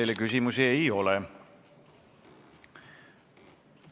Teile küsimusi ei ole.